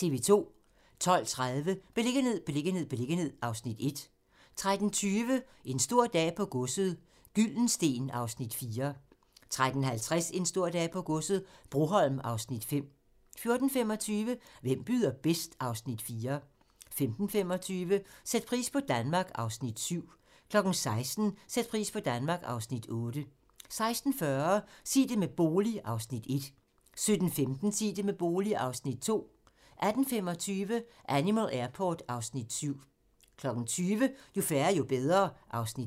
12:30: Beliggenhed, beliggenhed, beliggenhed (Afs. 1) 13:20: En stor dag på godset - Gyldensteen (Afs. 4) 13:50: En stor dag på godset - Broholm (Afs. 5) 14:25: Hvem byder bedst? (Afs. 4) 15:25: Sæt pris på Danmark (Afs. 7) 16:00: Sæt pris på Danmark (Afs. 8) 16:40: Sig det med bolig (Afs. 1) 17:15: Sig det med bolig (Afs. 2) 18:25: Animal Airport (Afs. 7) 20:00: Jo færre, jo bedre (Afs. 5)